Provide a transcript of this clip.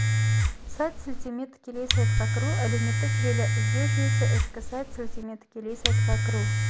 сайт сілтеме тікелей сайтқа кіру әлеуметтік желі іздеу жүйесі ішкі сайт сілтеме тікелей сайтқа кіру